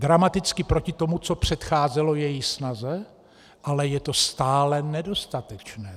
Dramaticky proti tomu, co předcházelo její snaze, ale je to stále nedostatečné.